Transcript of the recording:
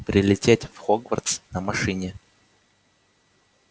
прилететь в хогвартс на машине